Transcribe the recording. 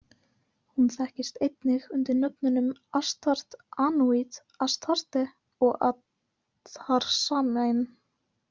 Hún þekkist einnig undir nöfnunum Ashtart, Anunit, Astarte, og Atarsamain.